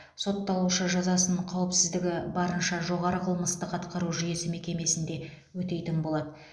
сотталушы жазасын қауіпсіздігі барынша жоғары қылмыстық атқару жүйесі мекемесінде өтейтін болады